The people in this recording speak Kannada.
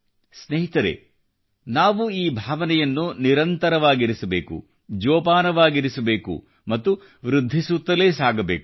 ಸ್ನೇಹಿತರೆ ನಾವು ಈ ಭಾವನೆಯನ್ನು ನಿರಂತರವಾಗಿರಿಸಬೇಕು ಜೋಪಾನವಾಗಿರಿಸಬೇಕು ಮತ್ತು ವೃದ್ಧಿಸುತ್ತಲೇ ಸಾಗಬೇಕು